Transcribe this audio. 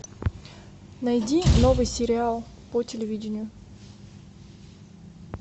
найди новый сериал по телевидению